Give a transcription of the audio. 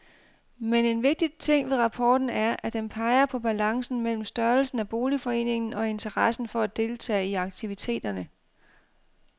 Men en vigtig ting ved rapporten er, at den peger på balancen mellem størrelsen af boligforeningen og interessen for at deltage i aktiviteterne.